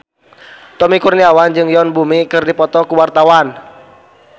Tommy Kurniawan jeung Yoon Bomi keur dipoto ku wartawan